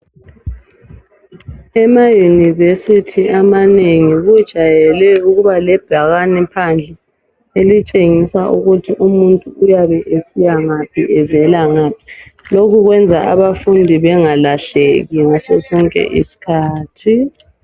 Emayunivesithi amanengi kujayele ukuba lebhakane phandle elitshengisa ukuthi umuntu uyabe esiya ngaphi evela ngaphi. Lokhu kwenza abafundi bengalahleki ngaso sonke isikhathi.